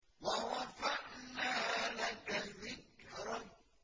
وَرَفَعْنَا لَكَ ذِكْرَكَ